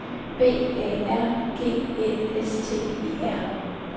B A R G Æ S T E R